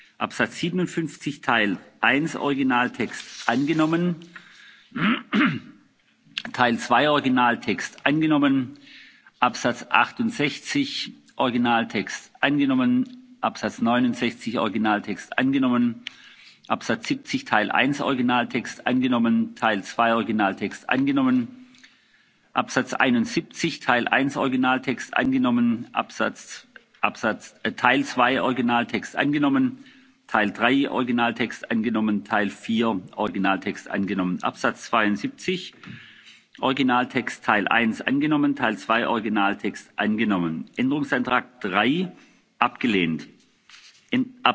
angenommen. Ziffer 57 Teil 1 Originaltext angenommen. Teil 2 Originaltext angenommen. Ziffer 68 Originaltext angenommen. Ziffer 69 Originaltext angenommen. Ziffer 70 Teil 1 Originaltext angenommen. Teil 2 Originaltext angenommen. Ziffer 71 Teil 1 Originaltext angenommen. Teil 2 Originaltext angenommen. Teil 3 Originaltext angenommen. Teil 4 Originaltext angenommen. Ziffer 72 Originaltext Teil 1 angenommen. Teil 2 Originaltext angenommen. Änderungsantrag